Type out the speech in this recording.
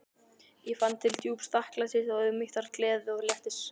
Ég fann til djúps þakklætis og auðmýktar, gleði og léttis.